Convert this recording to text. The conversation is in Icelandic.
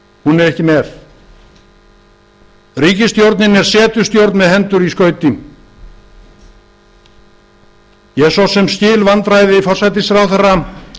hún er ekki með ríkisstjórnin er setustjórn með hendur í skauti ég svo sem skil vandræði forsætisráðherra